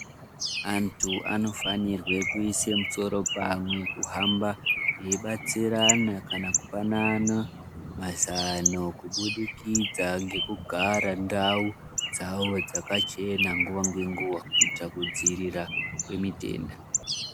Antu anofanirwe kuise musoro pamwe kuhamba eibatsirana kana kupanana mazano kubudikidza ngekugara ndau dzavo dzakachena nguwa ngenguwa kuitira kudziirira kwemitenda.